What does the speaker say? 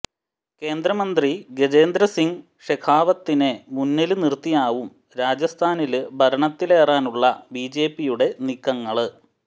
കേന്ദ്രമന്ത്രി ഗജേന്ദ്ര സിംഗ് ഷെഖാവത്തിനെ മുന്നില് നിര്ത്തിയാകും രാജസ്ഥാനില് ഭരണത്തിലറാനുള്ള ബിജെപിയുടെ നീക്കങ്ങള്